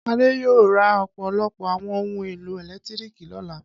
Adé yóò ra ọ̀pọ̀lọpọ̀ àwọn ohun-èlò ẹ̀lẹ́tíríkì lọ́la.